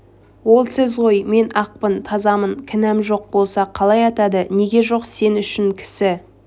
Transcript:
ол сіз ғой мен ақпын тазамын кінәм жоқ болса қалай атады неге жоқ сен үшін кісі